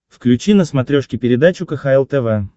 включи на смотрешке передачу кхл тв